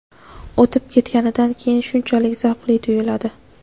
o‘tib ketganidan keyin shunchalik zavqli tuyuladi.